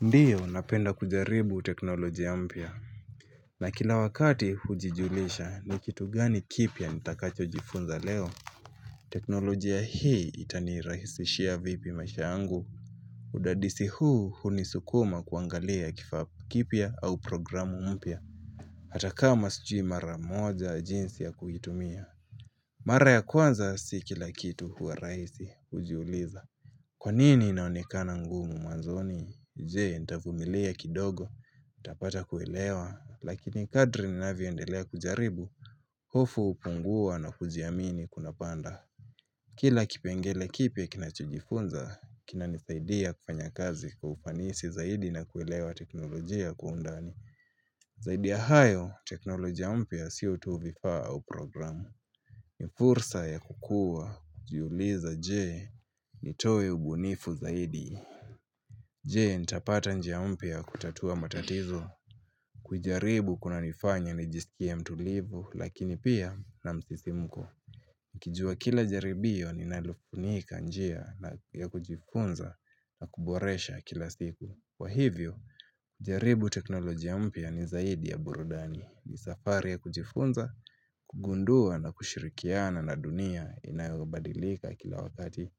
Ndiyo napenda kujaribu teknolojia mpya. Na kila wakati hujijulisha ni kitu gani kipya nitakacho jifunza leo? Teknolojia hii itanirahisishia vipi maisha yangu. Udadisi huu hunisukuma kuangalia kifaa kipya au programu mpya. Hatakama sijui mara moja jinsi ya kuitumia. Mara ya kwanza si kila kitu huwa rahisi hujiuliza. Kwanini inaonekana ngumu mwanzoni? Jee, ntavumilia kidogo, ntapata kuelewa, lakini kadri ninavyoendelea kujaribu, hofu hupungua na kujiamini kuna panda. Kila kipengele kipya kinachojifunza, kinanisaidia kufanya kazi kwa ufanisi zaidi na kuelewa teknolojia kwa undani. Zaidi ya hayo, teknolojia mpya sio tu vifaa au programu. Ni fursa ya kukua, jiulize je, nitoe ubunifu zaidi. Je, nitapata njia mpya ya kutatua matatizo. Kuijaribu kunanifanya nijiskie mtulivu lakini pia na msisimuko. Ukijua kila jaribio linalofunika njia na ya kujifunza na kuboresha kila siku. Kwa hivyo, jaribu teknolojia mpya ni zaidi ya burudani ni safari ya kujifunza, kugundua na kushirikiana na dunia inayobadilika kila wakati.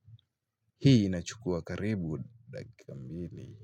Hii inachukua karibu dakika mbili.